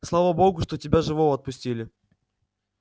слава богу что тебя живого отпустили